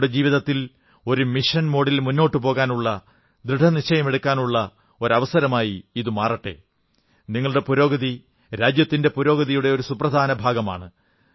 നിങ്ങളുടെ ജീവിതത്തിൽ ഒരു മിഷൻ മോഡിൽ മുന്നോട്ടു പോകാനുള്ള ദൃഢനിശ്ചയമെടുക്കാനുള്ള ഒരു അവസരമായി ഇതുമാറട്ടെ നിങ്ങളുടെ പുരോഗതി രാജ്യത്തിന്റെ പുരോഗതിയുടെ ഒരു സുപ്രധാന ഭാഗമാണ്